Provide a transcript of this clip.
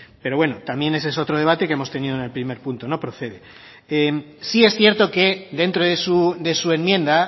pero bueno también ese es otro debate que hemos tenido en el primer punto no procede sí es cierto que dentro de su enmienda